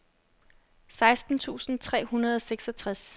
seksten tusind tre hundrede og seksogtres